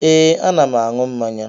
Ee, ana m aṅụ mmanya